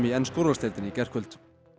úrvalsdeildinni í gærkvöld